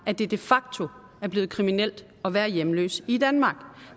at det de facto er blevet kriminelt at være hjemløs i danmark